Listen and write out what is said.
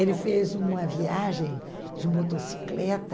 Ele fez uma viagem de motocicleta